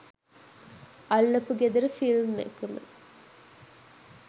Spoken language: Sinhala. අල්ලපු ගෙදර ෆිල්ම් එකම